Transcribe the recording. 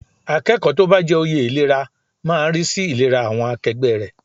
Akẹ́kọ̀ọ́ tó bá jẹ oyè ìlera máa rí sí ìlera àwọn akẹgbẹ́ rẹ̀.